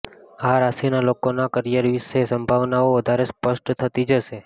આ રાશિના લોકોના કરિયર વિષે સંભાવનાઓ વધારે સ્પષ્ટ થતી જશે